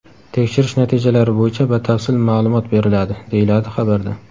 Tekshirish natijalari bo‘yicha batafsil ma’lumot beriladi”, deyiladi xabarda.